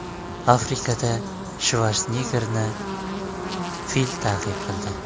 Afrikada Shvarseneggerni fil ta’qib qildi.